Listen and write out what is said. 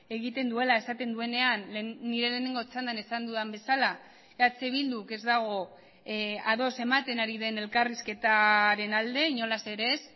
egiten duela esaten duenean nire lehenengo txandan esan dudan bezala eh bilduk ez dago ados ematen ari den elkarrizketaren alde inolaz ere ez